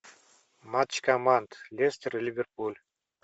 матч команд лестер и ливерпуль